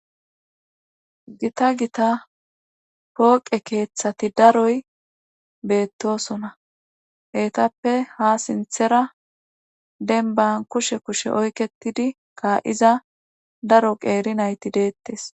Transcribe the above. gita gita pooqe keeththati daroy beettosona eetappe ha sinthera denban kushe kushe oyketidi ka7iza daro qeeri nayti deettes